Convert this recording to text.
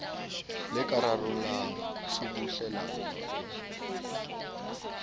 le ka rarollang tshubuhlellano e